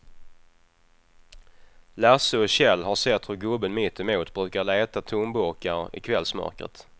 Lasse och Kjell har sett hur gubben mittemot brukar leta tomburkar i kvällsmörkret.